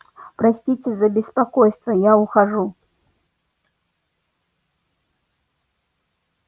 простите за беспокойство я ухожу